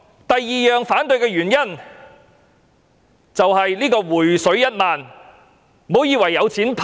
第二個反對的原因，是"回水 "1 萬元。